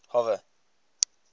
hoover